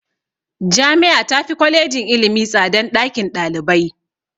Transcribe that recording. Jami'a tafi Kwalejin ilimi tsadan ɗakin ɗalibai.